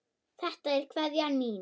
Þetta er kveðjan mín.